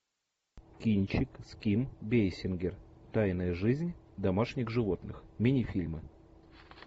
кинчик с ким бейсингер тайная жизнь домашних животных мини фильмы